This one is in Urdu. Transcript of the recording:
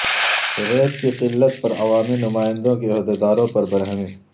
ریت کی قلت پر عوامی نمائندوں کی عہدیداروں پر برہمی